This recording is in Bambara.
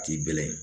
K'i bɛlɛn